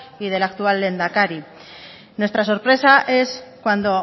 y del actual lehendakari nuestra sorpresa es cuando